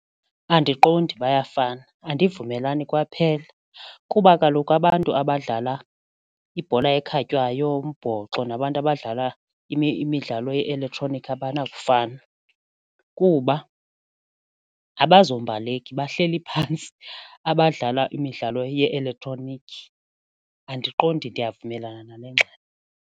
Andiqondi bayafana, andivumelani kwaphela kuba kaloku abantu abadlala ibhola ekhatywayo, yombhoxo nabantu abadlala imidlalo ye-elektroniki abanakufana kuba abazombaleki bahleli phantsi abadlala imidlalo ye-elektroniki. Andiqondi ndiyavumelana nale ngxelo.